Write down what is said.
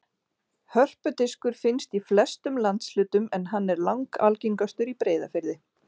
Hörpudiskur finnst í flestum landshlutum en hann er langalgengastur í Breiðafirði.